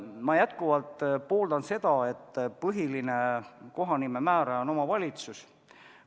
Ma endiselt pooldan seda, et põhiline kohanime määraja on omavalitsus.